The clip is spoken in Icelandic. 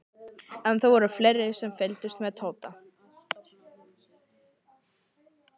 En það voru fleiri sem fylgdust með Tóta.